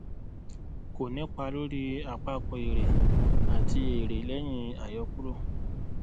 kò nípá lóri àpapọ èrè àti èrè lẹyìn àyọkúrò